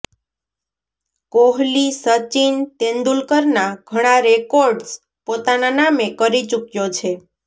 કોહલી સચિન તેંદુલકરના ઘણા રેકોર્ડ્સ પોતાના નામે કરી ચૂક્યો છે